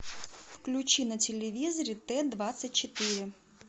включи на телевизоре т двадцать четыре